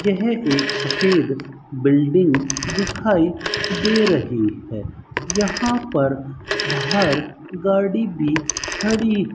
यह एक सफेद बिल्डिंग दिखाई दे रही है यहां पर बाहर गाड़ी भी खड़ी --